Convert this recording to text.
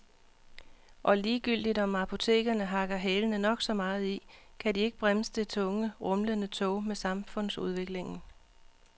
Og ligegyldigt om apotekerne hakker hælene nok så meget i, kan de ikke bremse det tunge, rumlende tog med samfundsudviklingen.